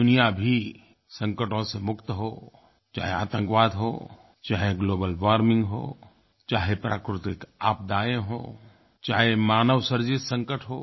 दुनिया भी संकटों से मुक्त हो चाहे आतंकवाद हो चाहे ग्लोबल वार्मिंग हो चाहे प्राकृतिक आपदायें हों चाहे मानव सृजित संकट हो